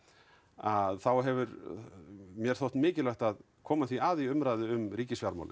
að þá hefur mér þótt mikilvægt að koma því að í umræðu um